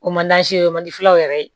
O man o mandiwɛrɛ ye